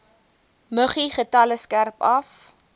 muggiegetalle skerp af